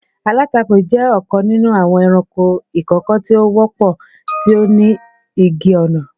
Alatako jẹ ọkan ninu awọn ẹranko ikoko ti o wọpọ, ti o ni igi-ọna.